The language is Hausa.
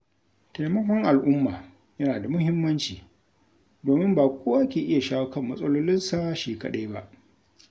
Taimakon al'umma yana da muhimmanci, domin ba kowa ke iya shawo kan matsalolinsa shi kaɗai ba.